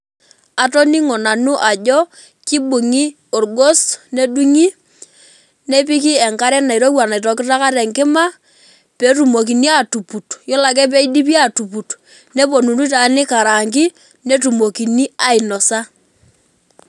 Atoningo nanu ajo kibungi orgos nedungi nepiki enkare nairowua naitokitokita tenkima petumokini atuput, yiolo ake peidipi atuput neponunui taa nikarangii netumokini ainosa.